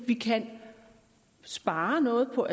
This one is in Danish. vi kan spare noget på